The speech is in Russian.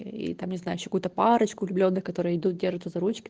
и там не знай какую-то парочку влюблённых которые идут держится